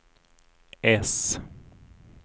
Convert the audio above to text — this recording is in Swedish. äss